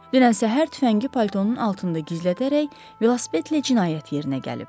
Dünən səhər tüfəngi paltonun altında gizlədərək velosipedlə cinayət yerinə gəlib.